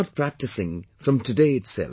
Start practicing from today itself